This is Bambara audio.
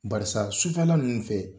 Barisa sufɛla ninnu fɛ